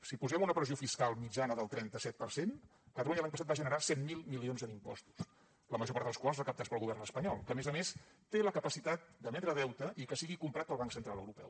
si posem una pressió fiscal mitjana del trenta set per cent catalunya l’any passat va generar cent miler milions en impostos la major part dels quals recaptats pel govern espanyol que a més a més té la capacitat d’emetre deute i que sigui comprat pel banc central europeu